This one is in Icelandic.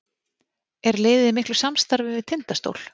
Er liðið í miklu samstarfi við Tindastól?